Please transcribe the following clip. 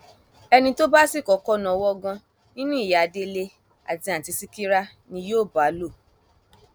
ẹni tó bá sì kọkọ náwó gan nínú ìyá délé àti àtúntì ṣìkírí ni yóò bá lò